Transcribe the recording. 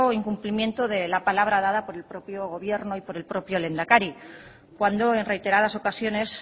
incumplimiento de la palabra dada por el propio gobierno y por el propio lehendakari cuando en reiteradas ocasiones